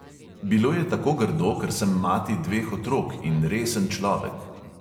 Bilo je tako grdo, ker sem mati dveh otrok in resen človek.